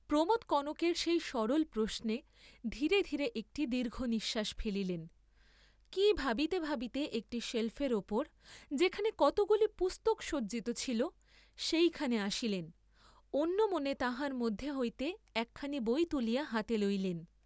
প্রমোদ কনকের সেই সরল প্রশ্নে ধীরে ধীরে একটি দীর্ঘনিশ্বাস ফেলিলেন, কি ভাবিতে ভাবিতে একটি সেল্ফের উপর, যেখানে কতকগুলি পুস্তক সজ্জিত ছিল সেইখানে আসিলেন, অন্য মনে তাহার মধ্য হইতে একখানি বই তুলিয়া হাতে লইলেন।